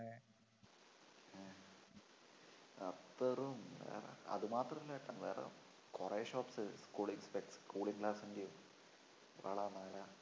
അത്തറും അതുമാത്രമല്ലാട്ടോ വേറെ കൊറേ shops cooling specs cooling glass ൻടെം വള മാല